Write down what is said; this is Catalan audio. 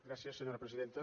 gràcies senyora presidenta